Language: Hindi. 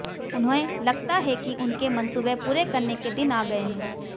उन्हें लगता है कि उनके मंसूबे पूरे करने के दिन आ गए हैं